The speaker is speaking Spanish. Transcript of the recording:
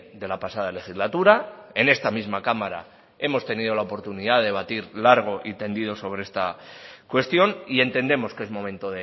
de la pasada legislatura en esta misma cámara hemos tenido la oportunidad de debatir largo y tendido sobre esta cuestión y entendemos que es momento